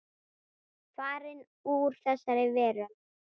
Farin úr þessari veröld.